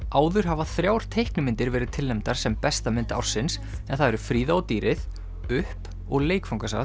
áður hafa þrjár teiknimyndir verið tilnefndar sem besta mynd ársins en það eru Fríða og dýrið upp og